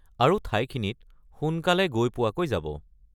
আৰু ঠাইখিনিত সোনকালে গৈ পোৱাকৈ যাব।